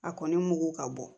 A kɔni mugu ka bɔ